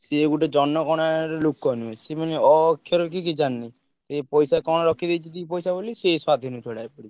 ସିଏ ଗୋଟେ ଜନଗଣନା ର ଲୋକ ନୁହଁ ସିଏ ମାନେ ଅ ଅକ୍ଷର ବି କିଛି ଜାଣିନି ଏ ପଇସା କଣ ରଖିଦେଇଛି ଦି ପଇସା ବୋଲି ସେ ।